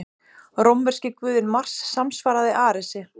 Rómverski guðinn Mars samsvaraði Aresi.